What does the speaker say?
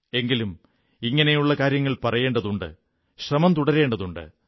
എങ്കിലും ഇങ്ങനെയുള്ള കാര്യങ്ങൾ പറയേണ്ടണ്ടതുണ്ട് ശ്രമം തുടരേണ്ടതുണ്ട്